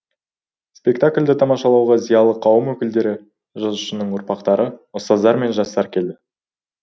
спектакльді тамашалауға зиялы қауым өкілдері жазушының ұрпақтары ұстаздар мен жастар келді